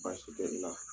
Baasi tɛ i la